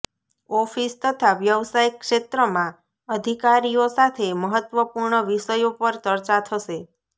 office તથા વ્યવસાય ક્ષેત્રમાં અધિકારીઓ સાથે મહત્વપૂર્ણ વિષયો પર ચર્ચા થશે